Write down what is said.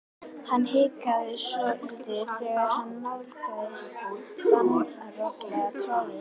Hann hikaði svolítið þegar hann nálgaðist danspallinn rosalegur troðningur.